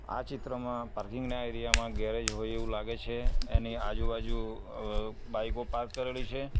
આ ચિત્રમાં પાર્કિંગ ના એરિયા માં ગેરેજ હોય એવું લાગે છે એની આજુબાજુ અહ બાઈકો પાર્ક કરેલી છે.